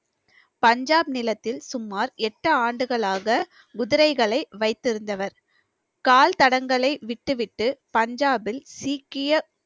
பஞ்சாப் நிலத்தில் சுமார் எட்டு ஆண்டுகளாக குதிரைகளை வைத்திருந்தவர் கால் தடங்களை விட்டுவிட்டு பஞ்சாபில் சீக்கிய